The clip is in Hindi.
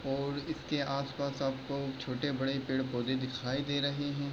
और इसके आसपास आपके छोटे-बड़े पेड़-पौधे दिखाई दे रहे हैं।